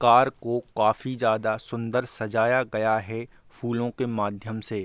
Car को काफ़ी ज़्यादा सुंदर सजाया गया है फूलों के माध्यम से।